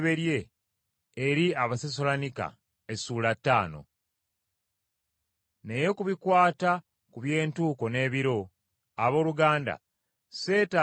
Naye ku bikwata ku by’entuuko n’ebiro, abooluganda, ssetaaga kwongera kubawandiikira.